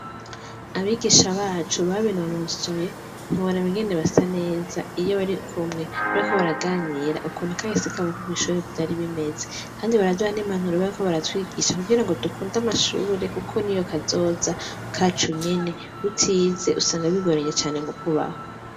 Abigisha bacu babinonosoye ntiwora ukungene basa neza iyo barikumwe bariko baraganira ukuntu kahise kabo ko kw'ishure vyari bimeze kandi baraduha n'impanuro bariko baratwigisha kugira ngo dukund'amashure kuko niyo kazoza kacu nyene. Utize usanga bigoranye cane mukubaho.